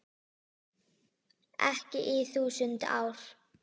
Ekki í þúsund ár.